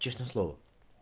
честное слово